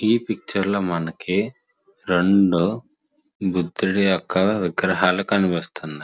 ఈ పిక్చర్ లో మనకి రెండు బుద్దుడి యొక్క విగ్రహాలు కనిపిస్తున్నాయి.